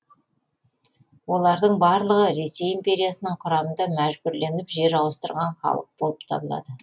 олардың барлығы ресей империясының құрамында мәжбүрленіп жер ауыстырған халық болып табылады